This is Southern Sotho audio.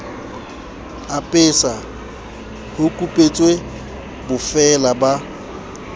apesa ho kupetswe bofeela ba